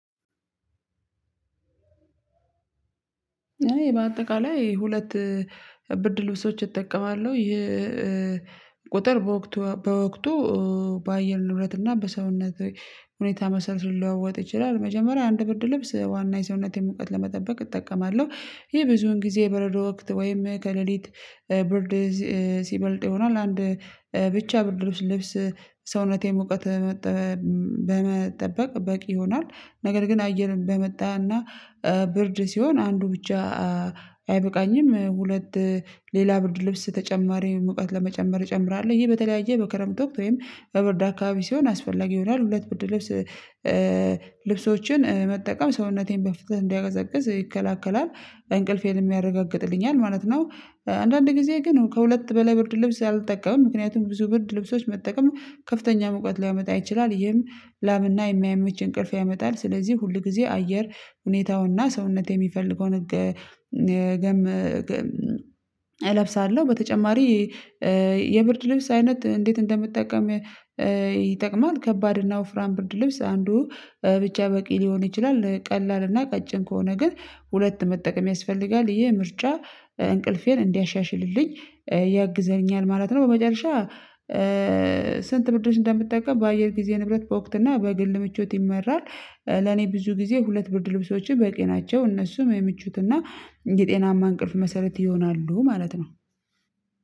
እኔ በአጠቃላይ ሁለት ብርድ ልብሶች እጠቀማለሁ ይሄ ቁጥር በወቅቱ በወቅቱ በአየር ንብረት እና በሰውነት ሁኔታ መሰረት ሊለዋወጥ ይችላል። መጀመሪያ አንድ ብርድ ልብስ ዋና የሰውነቴን ሙቀት ለመጠበቅ እጠቀማለሁ ይሄ ብዙውን ጊዜ በረዶ ወቅት ወይም ከሌሊት ብርድ ሲበልጥ ይሆናል አንድ ብቻ ብርድ ልብስ ሰውነቴን ሙቀት በመጠበቅ በቂ ይሆናል። ነገር ግን አየር እንደመጣ እና ብርድ ሲሆን አንዱ ብቻ አይበቃኝም ሁለት ሌላ ብርድ ልብስ ተጨማሪ ሙቀት ለመጨመር እጨምራለሁ። ይሄ በተለያየ በክረምት ወቅት ወይም በብርድ አካባቢ ሲሆን አስፈላጊ ይሆናል። ሁለት ብርድ ልብስ ልብሶችን መጠቀም ሰውነቴን በፍጥነት እንዳይቀዘቅዝ ይከለክላል እንቅልፌንም ያረጋግጥልኛል ማለት ነው። አንዳንድ ጊዜ ግን ከሁለት በላይ ብርድ ልብስ አልጠቀምም። ምክንያቱም ብዙ ብርድ ልብሶች መጠቀም ከፍተኛ ሙቀት ሊያመጣ ይችላል ይህም ላብና የማይመች እንቅልፍ ያመጣል። ስለዚህ ሁል ጊዜ አየር ሁኔታውና ሰውነቴ የሚፈልገውን ገ ገመ እለብሳለሁ። በተጨማሪ የብርድ ልብስ አይነት እንዴት እንደምጠቀም ይጠቅማል። ከባድ እና ወፍራም ብርድ ልብስ አንዱ ብቻ በቂ ሊሆን ይችላል። ቀላልና ቀጭን ከሆነ ግን ሁለት መጠቀም ያስፈልጋል። ይሄ ምርጫ እንቅልፌን እንዲያሻሽልልኝ ያግዘኛል ማለት ነው። በመጨረሻ ስንት ብርድ ልብስ እንደምጠቀም በአየር ጊዜ ንብረት በወቅት እና በግል ምቾት ይመራል። ለኔ ብዙ ጊዜ ሁለት ብርድ ልብሶች በቂ ናቸው እነሱም የምቾትና የጤናማ እንቅልፍ መሰረት ይሆናሉ። ማለት ነው።